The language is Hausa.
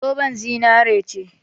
Zoben zinari ce.